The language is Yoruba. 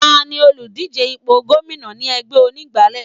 Tani òlùdíje ipò gómìnà tí ẹgbẹ́ onígbálé?